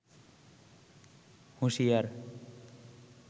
হুশিয়ার